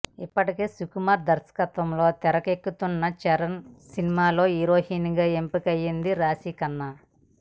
ఇప్పటికే సుకుమార్ దర్శకత్వంలో తెరకెక్కుతున్న చరణ్ సినిమాలో హీరోయిన్ గా ఎంపిక అయ్యింది రాశిఖన్నా